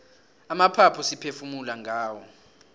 amaphaphu siphefumula ngawo